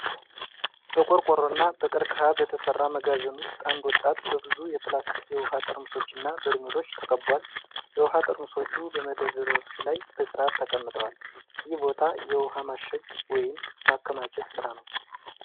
በቆርቆሮና በቀርከሃ በተሠራ መጋዘን ውስጥ አንድ ወጣት በብዙ የፕላስቲክ የውኃ ጠርሙሶችና በርሜሎች ተከቧል። የውኃ ጠርሙሶች በመደርደሪያዎች ላይ በሥርዓት ተቀምጠዋል። ይህ ቦታ የውሃ ማሸግ ወይም ማከማቸት ሥራ ነው።